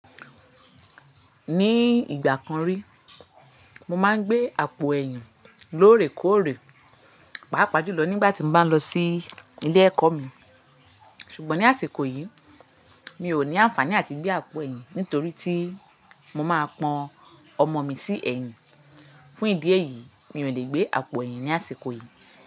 Ní ìgbà kan rí, mo máa ń gbé àpò ẹ̀yìn lórè kóòrè, pàápàá jùlọ nígbà tí mo bá ń lọ sí ilé ẹ̀kọ́ mi. Ṣùgbọ́n ní àsìkò yìí, mi ò ní àǹfàní àti gbé àpò ẹ̀yìn nítorí tí mo máa pọn ọmọ mi sí ẹ̀yìn. Fún ìdí èyí, mi ò lè gbé àpò ẹ̀yìn ní àsìkò yìí.